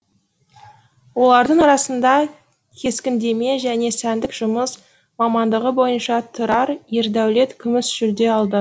олардың арасында кескіндеме және сәндік жұмыс мамандығы бойынша тұрар ердәулет күміс жүлде алды